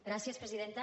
gràcies presidenta